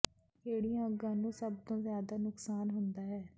ਕਿਹੜੀਆਂ ਅੰਗਾਂ ਨੂੰ ਸਭ ਤੋਂ ਜ਼ਿਆਦਾ ਨੁਕਸਾਨ ਹੁੰਦਾ ਹੈ